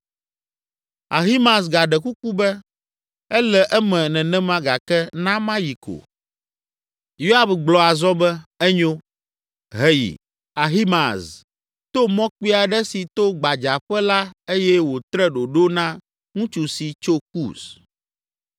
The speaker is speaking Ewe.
Ahimaaz gaɖe kuku be, “Ele eme nenema gake na mayi ko.” Yoab gblɔ azɔ be, “Enyo, heyi.” Ahimaaz to mɔ kpui aɖe si to gbadzaƒe la eye wòtre ɖoɖo na ŋutsu si tso Kus.